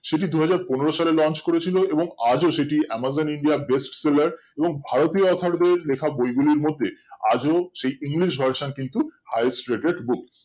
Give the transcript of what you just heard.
সেটি দুই হাজার পনেরো সালে launch করেছিল এবং আজ সেটি amazon india best seller এবং ভারতীয় author দের বইগুলি লেখার মধ্যে আজও সেই english version কিন্তু highest rated book